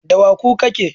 da wa kuka ke